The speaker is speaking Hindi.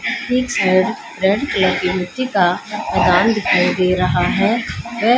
रेड कलर की मिट्टी का खदान दिखाई दे रहा है वे--